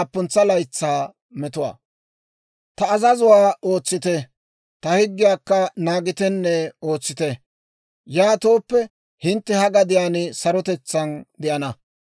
« ‹Ta azazuwaa ootsite; ta higgiyaakka naagitenne ootsite; yaatooppe hintte ha gadiyaan sarotetsaan de'ana.